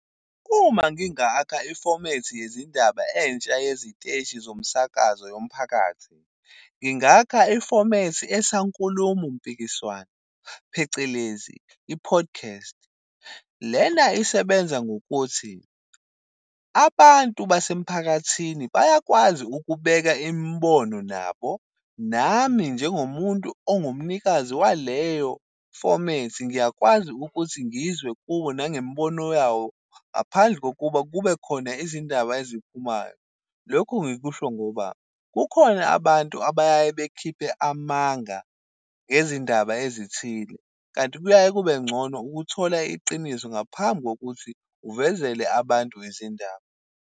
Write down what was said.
Uma ngingakha ifomethi yezindaba entsha yeziteshi zomsakazo yomphakathi, ngingakha ifomethi esankulumo mpikiswano, phecelezi i-podcast. Lena isebenza ngokuthi abantu basemphakathini bayakwazi ukubeka imibono nabo. Nami njengomuntu ongumnikazi waleyo fomethi, ngiyakwazi ukuthi ngizwe kubo nangembono yabo, ngaphandle kokuba kuba khona izindaba eziphumayo. Lokhu ngikusho ngoba, kukhona abantu abayaye bekhiphe amanga ngezindaba ezithile, kanti kuyaye kube ngcono ukuthola iqiniso ngaphambi kokuthi uvezele abantu izindaba.